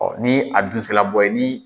Ɔ ni a dun sera bɔ ye ni